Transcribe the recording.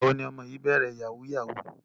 Ìgbà wo ni ọmọ yìí bẹ̀rẹ̀ yahoo yahoo?